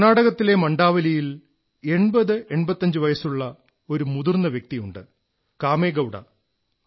കർണ്ണാടകത്തിലെ മാലാവല്ലിയിൽ 8085 വയസ്സുള്ള ഒരു മുതിർന്ന ആളുണ്ട് കാമേഗൌഡ